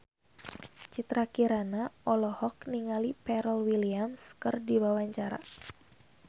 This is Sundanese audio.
Citra Kirana olohok ningali Pharrell Williams keur diwawancara